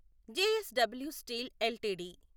JSW steel LTD